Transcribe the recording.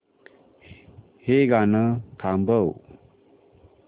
हे गाणं थांबव